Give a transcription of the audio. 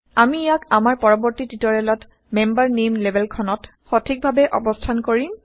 আমি ইয়াক আমাৰ পৰৱৰ্তী টিউটৰিয়েলত মেম্বাৰ নেইম লেবেলখনত সঠিকভাৱে অৱস্থান কৰিম